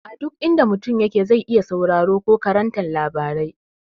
A duk inda mutum yake zai iya sauraron ko karanta labarai.